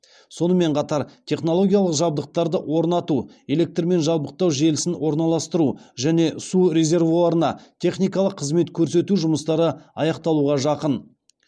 сонымен қатар технологиялық жабдықтарды орнату электрмен жабдықтау желісін орналастыру және су резервуарына техникалық қызмет көрсету жұмыстары аяқталуға жақын